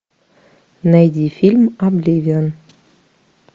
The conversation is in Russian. найди фильм обливион